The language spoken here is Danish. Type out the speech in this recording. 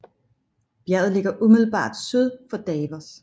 Bjerget ligger umiddelbart syd for Davos